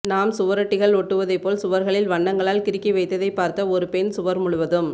நாம் சுவரொட்டிகள் ஒட்டுவதைப் போல் சுவர்களில் வண்னங்களால் கிறுக்கி வைத்ததைப் பார்த்த ஒரு பெண் சுவர் முழுவதும்